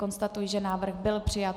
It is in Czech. Konstatuji, že návrh byl přijat.